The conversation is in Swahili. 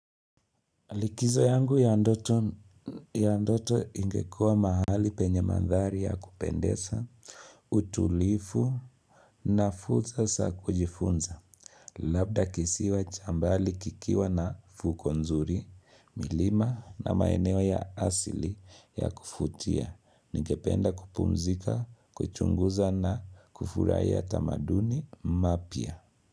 Likizo yangu ya ndoto ya ndoto ingekuwa mahali penye mandhari ya kupendesa, utulifu na fursa sa kujifunza. Labda kisiwa cha mbali kikiwa na fuko nzuri, mlima na maeneo ya asili ya kufutia. Ningependa kupumzika, kuchunguza na kufurahia tamaduni mapya.